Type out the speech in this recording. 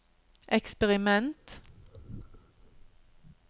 eksperiment